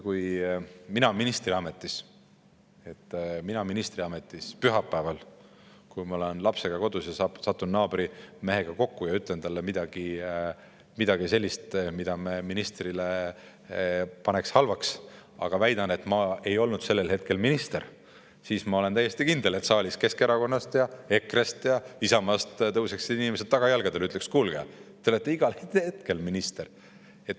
Kui mina ministriametis pühapäeval oleksin lapsega kodus, satuksin naabrimehega kokku ja ütleksin talle midagi sellist, mida ministri puhul pandaks halvaks, aga väidan, et ma ei olnud sellel hetkel minister, siis ma olen täiesti kindel, et saalis inimesed Keskerakonnast, EKRE-st ja Isamaast tõuseksid tagajalgadele ja ütleksid: "Kuulge, te olete igal hetkel minister.